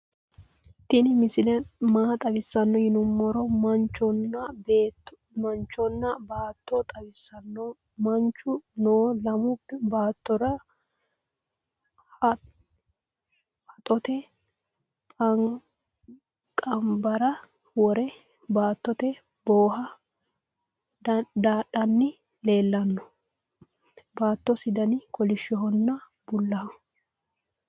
tinni misile maa xawisano yiinumoro manchonna botta xawisano manchu noo lamu bottira haxotte panbara woore baatote bohe dadhani leelano bootasi danni kolishohonna buulaho.